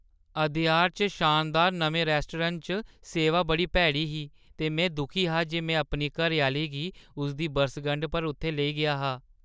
अदयार च शानदार नमें रैस्टोरैंट च सेवा बड़ी भैड़ी ही ते में दुखी हा जे में अपनी घरैआह्‌ली गी उसदी बरसगंढा पर उत्थै लेई गेआ हा।